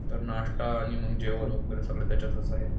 तर नाश्ता आणि मग जेवण वगैरे सगळं त्याच्यातच आहे